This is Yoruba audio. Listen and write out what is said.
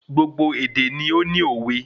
Gbogbo èdè ni óní òwe